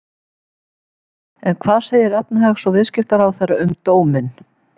En hvað segir efnahags- og viðskiptaráðherra um dóminn?